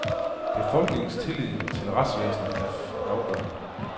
Befolkningens tillid til retsvæsenet er afgørende.